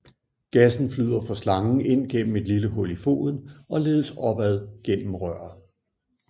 Gassen flyder fra slangen ind gennem et lille hul i foden og ledes opad gennem røret